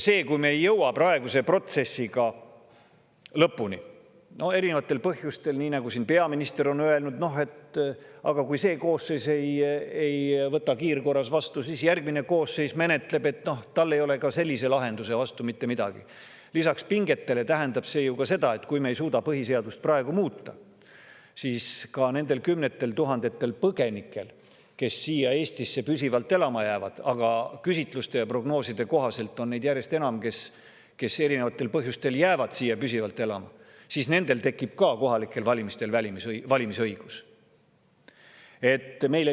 Kui me ei jõua praeguse protsessiga erinevatel põhjustel lõpuni – nii nagu peaminister on öelnud, et kui see koosseis ei võta seda kiirkorras vastu, siis järgmine koosseis seda menetleb, ja tal ei ole ka sellise lahenduse vastu mitte midagi –, siis lisaks pingetele tähendab see, kui me ei suuda põhiseadust praegu muuta, seda, et nendel kümnetel tuhandetel põgenikel, kes siia Eestisse püsivalt elama jäävad – aga küsitluste ja prognooside kohaselt on neid järjest enam, kes erinevatel põhjustel jäävad siia püsivalt elama –, tekib kohalikel valimistel valimisõigus.